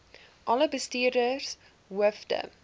alle bestuurders hoofde